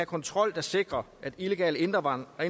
kontrol der sikrer at illegale indvandrere og